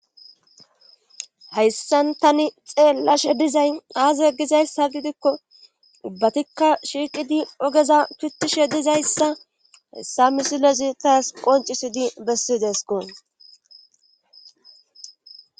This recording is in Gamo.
Hayssan tani xeelashe dizay aaze gizayssa gidikko ubbatikka shiiqidi ogeza pittishe dizayssa hessa misilezi taas qoncisidi bessidesko.